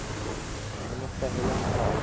minister helen clark